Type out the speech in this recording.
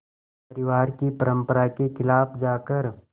परिवार की परंपरा के ख़िलाफ़ जाकर